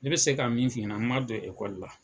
Ne bɛ se ka min f'i ɲɛna, n ma don ekɔli la.